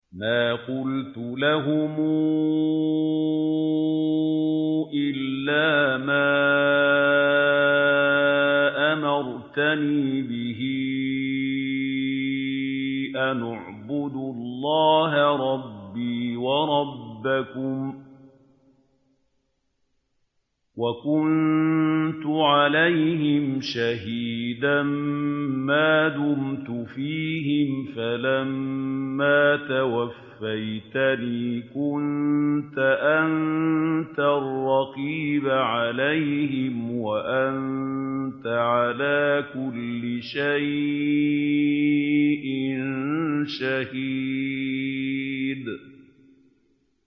مَا قُلْتُ لَهُمْ إِلَّا مَا أَمَرْتَنِي بِهِ أَنِ اعْبُدُوا اللَّهَ رَبِّي وَرَبَّكُمْ ۚ وَكُنتُ عَلَيْهِمْ شَهِيدًا مَّا دُمْتُ فِيهِمْ ۖ فَلَمَّا تَوَفَّيْتَنِي كُنتَ أَنتَ الرَّقِيبَ عَلَيْهِمْ ۚ وَأَنتَ عَلَىٰ كُلِّ شَيْءٍ شَهِيدٌ